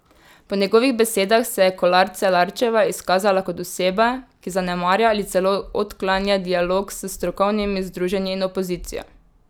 Po njegovih besedah se je Kolar Celarčeva izkazala kot oseba, ki zanemarja ali celo odklanja dialog s strokovnimi združenji in opozicijo.